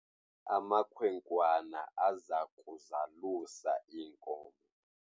Amakhwenkwana aza kuzalusa iinkomo.